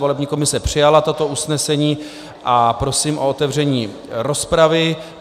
Volební komise přijala toto usnesení a prosím o otevření rozpravy.